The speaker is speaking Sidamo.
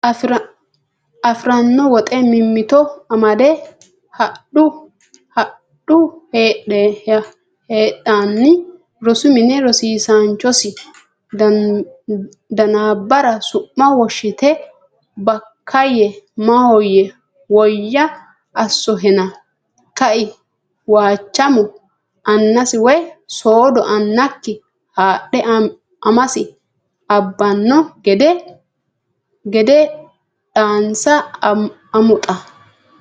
afi ranno woxe mimmito amadde hadhu hedanni Rosu mine rosiisaanchosi Danbaare su ma woshshite Bakkaayye Maahoyye woyya assohena ka e Waachamo annasi woy soodo annakki haadhe amasi abbanno gede dhaansa amoxa !